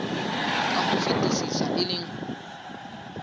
ka ho fetisisa e leng